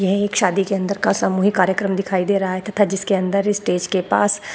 यह एक शादी के अंदर का सामूहिक कार्यक्रम दिखाई दे रहा है तथा जिसके अंदर स्टेज के पास --